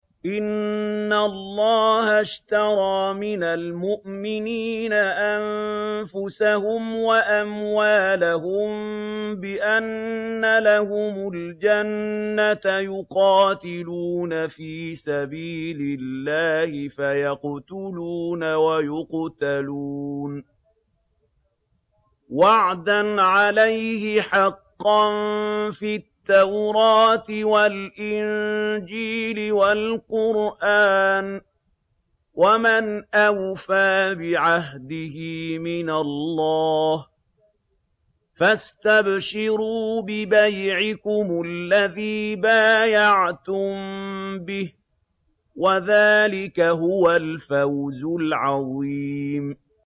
۞ إِنَّ اللَّهَ اشْتَرَىٰ مِنَ الْمُؤْمِنِينَ أَنفُسَهُمْ وَأَمْوَالَهُم بِأَنَّ لَهُمُ الْجَنَّةَ ۚ يُقَاتِلُونَ فِي سَبِيلِ اللَّهِ فَيَقْتُلُونَ وَيُقْتَلُونَ ۖ وَعْدًا عَلَيْهِ حَقًّا فِي التَّوْرَاةِ وَالْإِنجِيلِ وَالْقُرْآنِ ۚ وَمَنْ أَوْفَىٰ بِعَهْدِهِ مِنَ اللَّهِ ۚ فَاسْتَبْشِرُوا بِبَيْعِكُمُ الَّذِي بَايَعْتُم بِهِ ۚ وَذَٰلِكَ هُوَ الْفَوْزُ الْعَظِيمُ